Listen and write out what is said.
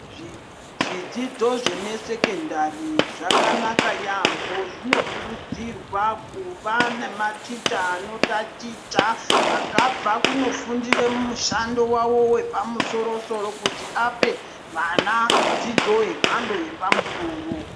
Zvidzidzo zvemasekondari, zvakanaka yaamho, zvinokurudzirwa kuva nematicha anotaticha, akabva kunofundire mushando wavo wepamusoro-soro ,kuti ape vana dzidzo yemhando yepamusoro.